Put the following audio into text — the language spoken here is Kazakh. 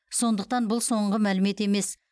сондықтан бұл соңғы мәлімет емес